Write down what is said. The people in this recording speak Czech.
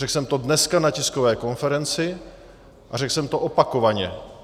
Řekl jsem to dneska na tiskové konferenci a řekl jsem to opakovaně.